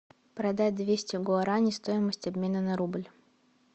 продать двести гуарани стоимость обмена на рубль